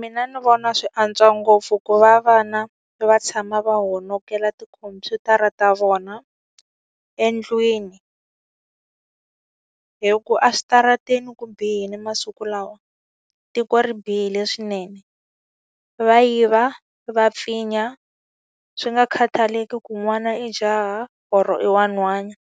Mina ni vona swi antswa ngopfu ku va vana va tshama va honokerile tikhompyutara ta vona endlwini, hikuva a switarateni ku bihile masiku lawa, tiko ri bihile swinene. Va yiva, va pfinya, swi nga khathaleki ku n'wana i jaha or i wa nhwana.